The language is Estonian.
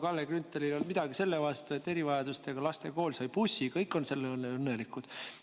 Kalle Grünthalil ei olnud midagi selle vastu, et erivajadustega laste kool sai bussi, selle üle on kõik õnnelikud.